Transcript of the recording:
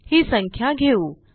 ही संख्या घेऊ